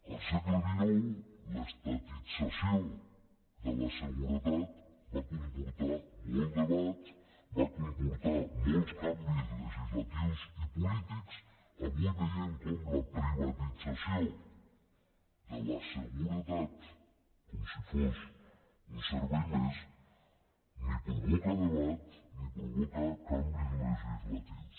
al segle xix l’estatització de la seguretat va comportar molt debat va comportar molts canvis legislatius i polítics avui veiem com la privatització de la seguretat com si fos un servei més ni provoca debat ni provoca canvis legislatius